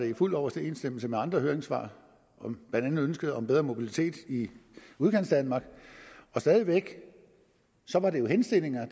i fuld overensstemmelse med andre høringssvar blandt andet ønsket om bedre mobilitet i udkantsdanmark stadig væk var det jo henstillinger